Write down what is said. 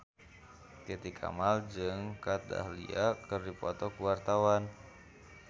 Titi Kamal jeung Kat Dahlia keur dipoto ku wartawan